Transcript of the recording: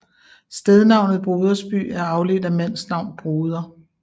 Stednavnet Brodersby er afledt af mandsnavn Broder